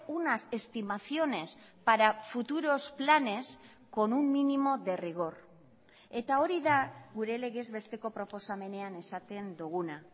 unas estimaciones para futuros planes con un mínimo de rigor eta hori da gure legez besteko proposamenean esaten duguna